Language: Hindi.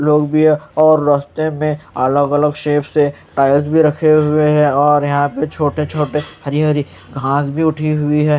लोग भी है और रास्ते में अलग अलग शेप से टायर्स भी रखे हुए हैं और यहां पर छोटे छोटे हरी हरी घास भी उठी हुई है।